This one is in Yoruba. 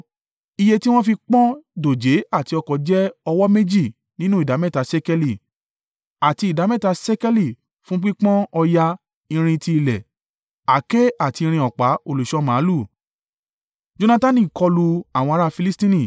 Iye tí wọ́n fi pọ́n dòjé àti ọ̀kọ̀ jẹ́ ọwọ́ méjì nínú ìdámẹ́ta ṣékélì, àti ìdámẹ́ta ṣékélì fún pípọ́n òòyà-irin tí ilẹ̀, àáké àti irin ọ̀pá olùṣọ́ màlúù.